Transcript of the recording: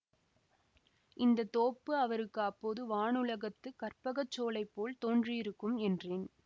இந்த தோப்பு அவருக்கு அப்போது வானுலகத்துக் கற்பகச் சோலை போல் தோன்றியிருக்கும் என்றேன்